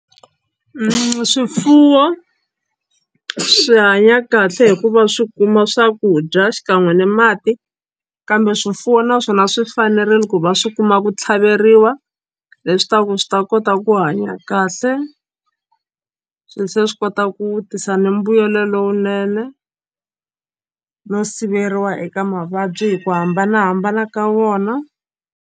Swifuwo swi hanya kahle hikuva swi kuma swakudya xikan'we ni mati kambe swifuwo naswona swi fanerile ku va swi kuma ku tlhaveriwa leswi ta ku swi ta kota ku hanya kahle swi se swi kota ku tisa ni mbuyelo lowunene no siveriwa eka mavabyi hi ku hambanahambana ka wona.